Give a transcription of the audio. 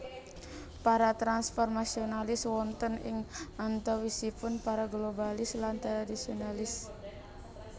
Para transformasionalis wonten ing antawisipun para globalis lan tradisionalis